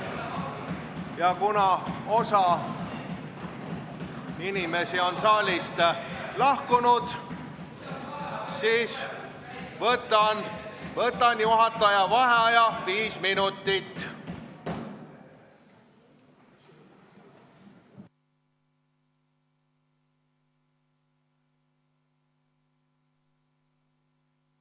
Ja kuna osa inimesi on saalist lahkunud, ma võtan juhataja vaheaja viis minutit.